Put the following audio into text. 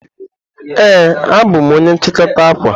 Ee, abụ m onye nchikota akwa.